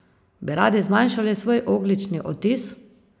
Bi radi zmanjšali svoj ogljični odtis?